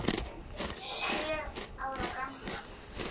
Sjö ára gamlar.